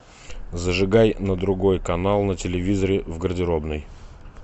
зажигай на другой канал на телевизоре в гардеробной